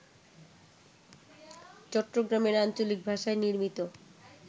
চট্টগ্রামের আঞ্চলিক ভাষায় নির্মিত